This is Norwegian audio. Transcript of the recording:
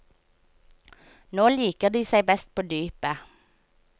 Nå liker de seg best på dypet.